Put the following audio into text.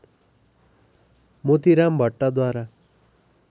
Motiram भट्टद्वारा